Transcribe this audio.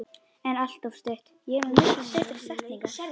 En alltof stutt.